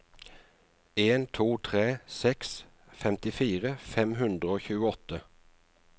en to tre seks femtifire fem hundre og tjueåtte